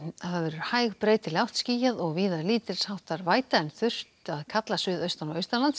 hæg breytileg átt skýjað og víða lítils háttar væta en þurrt að kalla suðaustan og